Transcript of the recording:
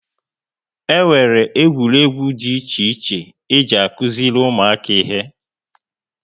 E nwere égwu dị iche iche e ji akuziri ụmụaka ihe